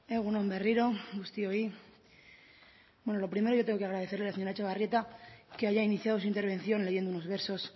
egun on berriro guztioi bueno lo primero yo tengo que agradecerle a la señora etxebarrieta que haya iniciado su intervención leyendo unos versos